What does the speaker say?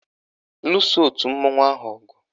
Luso òtù mmanwụ ahụ ọgụ!